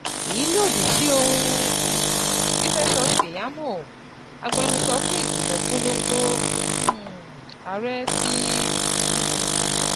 èyí lòdì sí ohun um tí Festus Keyamo, agbẹnusọ fún ìgbìmọ̀ ìpolongo um ààrẹ ti um